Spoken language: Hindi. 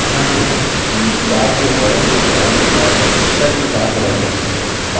ध्यान दें कि chart के border की स्टाइल और रंग तदनुसार बदलते हैं